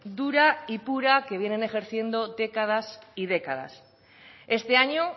dura y pura que vienen ejerciendo décadas y décadas este año